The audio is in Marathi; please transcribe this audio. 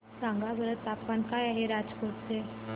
सांगा बरं तापमान काय आहे राजकोट चे